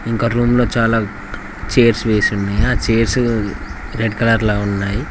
ఇంకా రూమ్ లో చాలా చేర్స్ వేసున్నాయ్ ఆ చెర్సు రెడ్ కలర్ లో ఉన్నాయి.